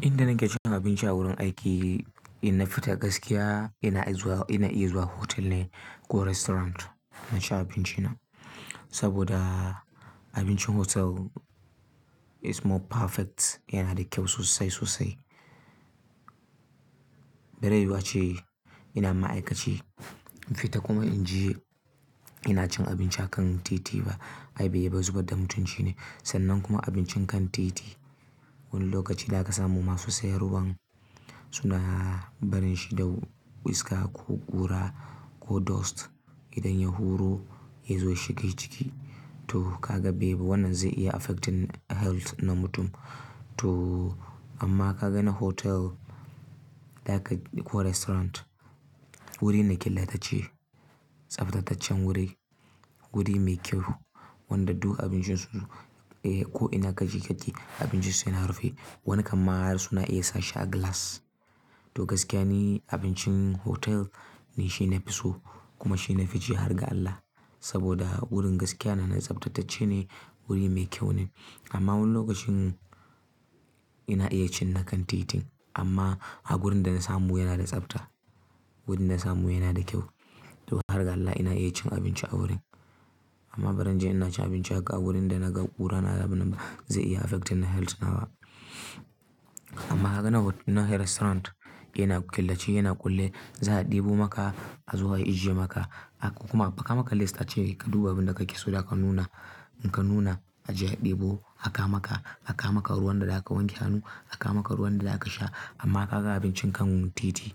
Inda nake cin abinci a wurin aiki, ina fita gaskiya ina iya zuwa hotel ne ko restaurant na ci abinci na. Saboda abincin hotel is more perfect yana da kyau sosai sosai. Bare wace ina ma'aikaci, infita kuma in je ina cin abinci a kan titi ba ayi bayi ba saboda mutunci ne. Sannan kuma abincin kan titi wani lokaci da ka samu masu sayarwan suna barin shi da wiska ko ƙura ko dust. Idan ya huro ya zo shiga jiki to ka ga babe wannan zai iya affecting health na mutum. To amma ka gani hotel da ka ko restaurant wurin na ƙillatacce, tsaftataccen wuri, wuri mai kyau wanda duk abincin su ko ina kaji kaji abincin su yana rufe. Wani kamar suna iya sa shi a glass. To gaskiya ne abincin hotel ne shi nafi so kuma shi nafi jihar ga Allah. Saboda wurin gaskiya na da tsaftatacce ne, wuri mai kyau ne. Amma wani lokacin ina iya cin na kan titin amma a wurin da na samu yana da tsafta, wurin da na samu yana da kyau. To harkar Allah ina iya cin abinci a wurin. Amma bari in je ina ci abinci a wurin da naga ƙura na ga binba zai iya affecting health na wa amma ka gani restaurant yana ƙillace yana kulle, za a ɗebo maka a zuwa a ajiye maka. Kuma aka maka list ace ka duba abin da kake so da aka nuna, in ka nuna aje a ɗebo aka maka, aka maka ruwan da zaka wanke hannu, aka maka ruwan da zaka sha. Amma ka ga abincin kan titi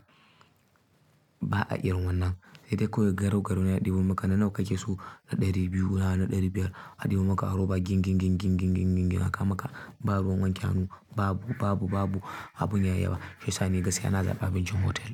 ba a irin wannan. Sai dai ko garau garau na ɗebo maka. Nana kake so ɗari biyu na ɗari biyar a ɗebo maka ruwa ginginging aka maka. Ba ruwan wanke hannu babu, babu, babu abun yayi ba. Shiyasani gaskiya na tsani abincin hotel.